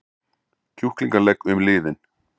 kjúklingalegg um liðinn.